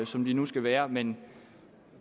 som de nu skal være men